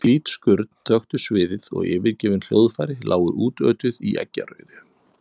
Hvít skurn þöktu sviðið og yfirgefin hljóðfæri lágu útötuð í eggjarauðu.